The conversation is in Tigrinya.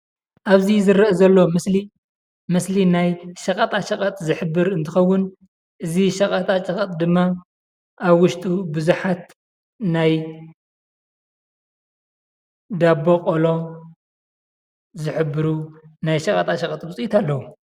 ኣብዚ ዝረኣ ዘሎ ምስሊ ምስሊ ኣብ ሸቀጣሸቀጥ እንትከውን ፤ እዚ ሸቀጣሸቀጥ ድማ ኣብ ውሽጡ ብዙሓት ናይ ዳቦ ቆሎ ዝሕብሩ ናይ ሸቀጣሸቀጥ ውፅኢት ኣለው።